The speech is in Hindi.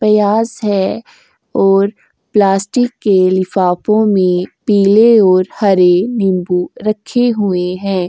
है और प्लास्टिक के लिफ़ाफ़ों में पीले और हरे नींबू रखे हुए हैं।